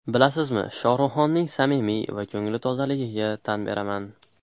Bilasizmi, Shohruxxonning samimiy va ko‘ngli tozaligiga tan beraman.